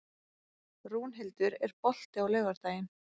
Rúnhildur, er bolti á laugardaginn?